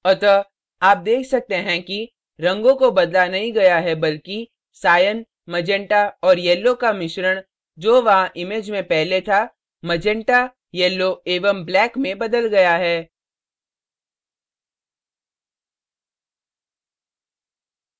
अतः आप देख सकते हैं कि रंगों को बदला नहीं गया है बल्कि cyan magenta और yellow का मिश्रण जो वहां image में पहले था magenta yellow एवं black में बदल गया है